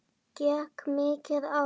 Gekk mikið á?